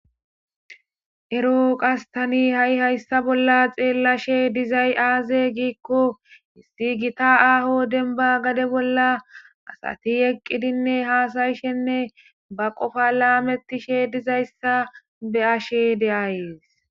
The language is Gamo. ero qastani ha7i hayssa bolla xeellashe dizay aaze giikko hissi gita aaho denba gade bolla asati eqqidinne haasayishenne ba qofa laametishe dizayssa beyashe de7ayees